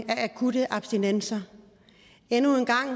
af akutte abstinenser endnu en gang